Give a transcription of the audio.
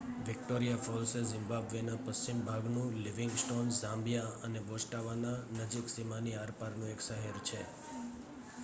Victoria Falls એ Zimbabwe ના પશ્ચિમ ભાગનું લિવિંગસ્ટોન ઝામ્બિયા અને બોસ્ટવાના નજીક સીમાની આરપારનું એક શહેર છે